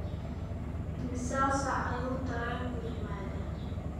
imisa saac ayuu tareenku yimaadaa?